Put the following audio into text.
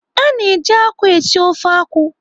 A na-eji akwụ esi ofe akwụ.